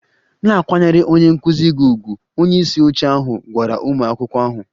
Na-akwanyere onye nkụzi gị ùgwù! Onye isi oche ahụ gwara ụmụ akwụkwọ ahụ